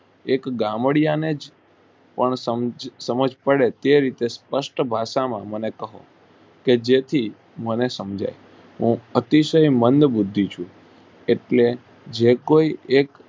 એક ગામડિયાને જ પણ સમજ પડે તે રીતે સ્પષ્ટ ભાષા માં મને કહો કે જેથી મને સમજાય હું અતિશય મંદ બુર્ધિ છુ એટલે જે કોઈ એક